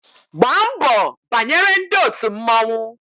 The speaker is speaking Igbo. Gbaa mbọ banyere ndị òtù mmọnwụ